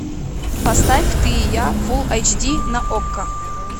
поставь ты и я фул айч ди на окко